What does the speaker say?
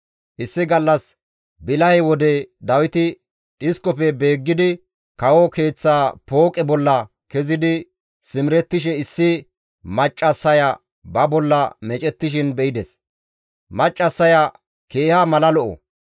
Issi gallas bilahe wode Dawiti dhiskofe beeggidi kawo keeththa pooqe bolla kezidi simerettishe issi maccassaya ba bolla meecettishin be7ides; maccassaya keeha mala lo7o.